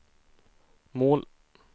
mål